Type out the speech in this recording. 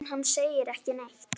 En hann segir ekki neitt.